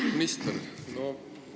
Hea minister!